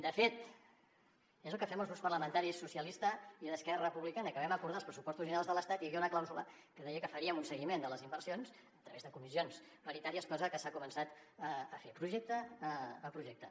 de fet és el que fem els grups parlamentaris socialista i d’esquerra republicana que vam acordar els pressupostos generals de l’estat i hi havia una clàusula que deia que faríem un seguiment de les inversions a través de comissions paritàries cosa que s’ha començat a fer projecte a projecte